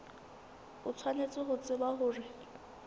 o tshwanetse ho tseba hore